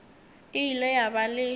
e ile ya ba le